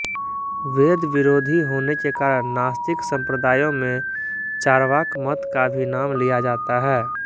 वेदविरोधी होने के कारण नास्तिक संप्रदायों में चार्वाक मत का भी नाम लिया जाता है